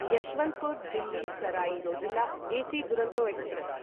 Yesvantpur Delhi Sarai Rohilla AC Duronto express